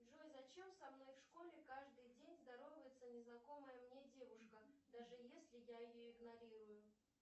джой зачем со мной в школе каждый день здоровается незнакомая мне девушка даже если я ее игнорирую